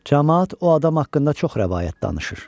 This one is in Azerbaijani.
Camaat o adam haqqında çox rəvayət danışır.